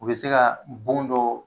U bɛ se ka bon dɔ